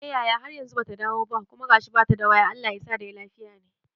Eh yaya, har yanzu bata dawo ba kuma gashi bata da waya Allah yasa dai lafiya ne